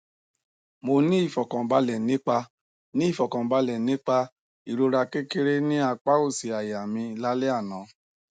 mo ni ifọkanbalẹ nipa ni ifọkanbalẹ nipa irọra kekere ni apa osi aya mi la le ana